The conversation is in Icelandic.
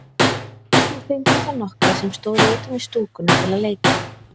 Við fengum þá nokkra sem stóðu utan við stúkuna til að leika.